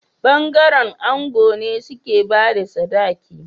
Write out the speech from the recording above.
Bangaren ango ne suke bada sadaki